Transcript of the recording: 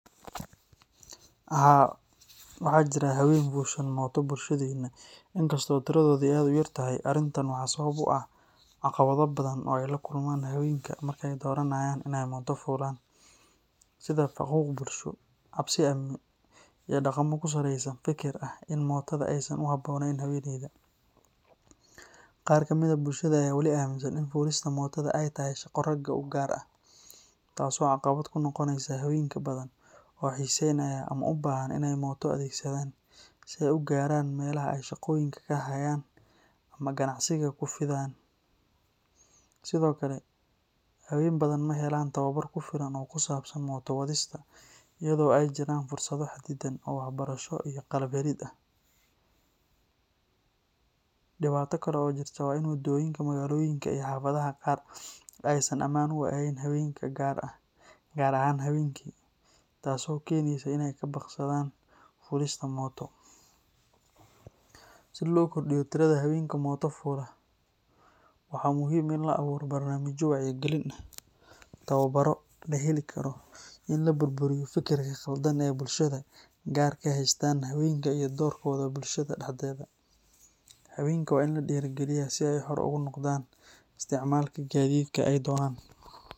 Haa, waxaa jira haween fuushan mooto bulshadeenna, inkastoo tiradoodu ay aad u yar tahay. Arrintan waxaa sabab u ah caqabado badan oo ay la kulmaan haweenka marka ay dooranayaan in ay mooto fuulaan, sida faquuq bulsho, cabsi amni, iyo dhaqamo ku saleysan fikir ah in mootada aysan u habbooneyn haweeneyda. Qaar ka mid ah bulshada ayaa wali aaminsan in fuulista mootada ay tahay shaqo ragga u gaar ah, taas oo caqabad ku noqoneysa haween badan oo xiiseynaya ama u baahan in ay mooto adeegsadaan si ay u gaaraan meelaha ay shaqooyinka ka hayaan ama ganacsiga ku fidiyaan. Sidoo kale, haween badan ma helaan tababar ku filan oo ku saabsan mooto wadista, iyadoo ay jiraan fursado xadidan oo waxbarasho iyo qalab helid ah. Dhibaato kale oo jirta waa in waddooyinka magaalooyinka iyo xaafadaha qaar aysan ammaan u ahayn haweenka gaar ahaan habeenkii, taas oo keeneysa in ay ka baaqsadaan fuulista mooto. Si loo kordhiyo tirada haweenka mooto fuula, waxaa muhiim ah in la abuuro barnaamijyo wacyigelin ah, tababarro la heli karo, iyo in la burburiyo fikirka qaldan ee bulshada qaar ka haystaan haweenka iyo doorkooda bulshada dhexdeeda. Haweenka waa in la dhiirrigeliyaa si ay xor ugu noqdaan isticmaalka gaadiidka ay doonaan.